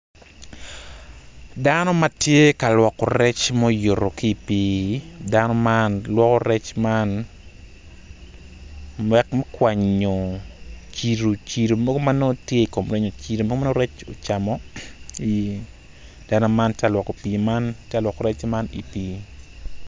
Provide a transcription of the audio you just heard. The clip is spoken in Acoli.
Dano ma tye ka lwoko rec ma oyuto ki i pii dano man lwoko rec man wek me kwanyo cilo cilo mogo ma nwongo tye i kom rec cilo mogo ma nongo rec ocamo dano man tye ka lwoko rec man i pii.